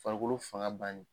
Farikolo fanga banni.